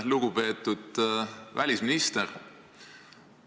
Lugupeetud välisminister!